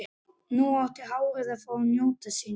Nú átti hárið að fá að njóta sín.